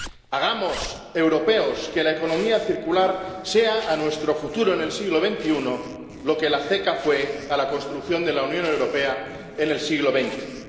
Hagamos, europeos, que la economía circular sea a nuestro futuro en el siglo XXI lo que la CECA fue a la construcción de la Unión Europea en el siglo XX.